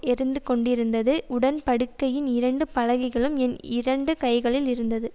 எரிந்துகொண்டிருந்தது உடன்படிக்கையின் இரண்டு பலகைகளும் என் இரண்டு கைகளில் இருந்தது